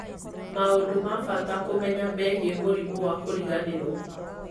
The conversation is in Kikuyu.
maũndũ ma bata kũmenya megiĩ mũrimũ wa kũriganĩrwo